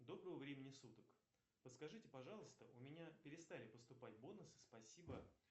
доброго времени суток подскажите пожалуйста у меня перестали поступать бонусы спасибо